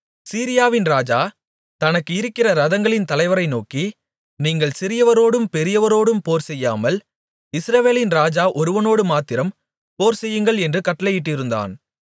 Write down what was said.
சீரியாவின் ராஜா தனக்கு இருக்கிற இரதங்களின் தலைவரை நோக்கி நீங்கள் சிறியவரோடும் பெரியவரோடும் போர்செய்யாமல் இஸ்ரவேலின் ராஜா ஒருவனோடுமாத்திரம் போர்செய்யுங்கள் என்று கட்டளையிட்டிருந்தான்